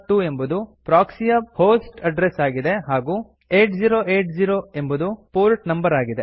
102402 ಎಂಬುದು ಪ್ರೊಕ್ಸಿ ಯ host address ಆಗಿದೆ ಹಾಗೂ 8080 ಎಂಬುದು ಪೋರ್ಟ್ ನಂಬರ್ ಆಗಿದೆ